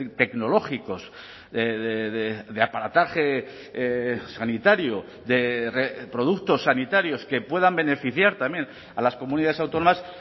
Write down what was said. tecnológicos de aparataje sanitario de productos sanitarios que puedan beneficiar también a las comunidades autónomas